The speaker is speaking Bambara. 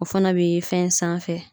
O fana be ye fɛn sanfɛ